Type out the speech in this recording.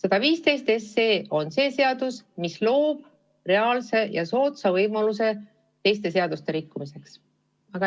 Aga seaduseelnõu 115 loob reaalse ja soodsa võimaluse teiste seaduste rikkumiseks.